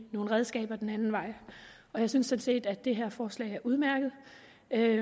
nogle redskaber den anden vej jeg synes set at det her forslag er udmærket at